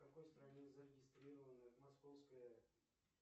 в какой стране зарегистрирована московская